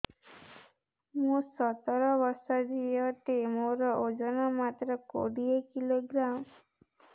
ମୁଁ ସତର ବର୍ଷ ଝିଅ ଟେ ମୋର ଓଜନ ମାତ୍ର କୋଡ଼ିଏ କିଲୋଗ୍ରାମ